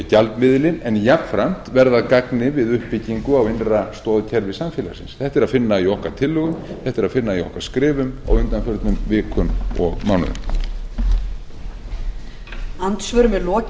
gjaldmiðilinn en jafnframt verða að gagni við uppbyggingu á innra stoðkerfi samfélagsins þetta er að finna í okkar tillögum þetta er að finna í okkar skrifum á undanförnum vikum og mánuðum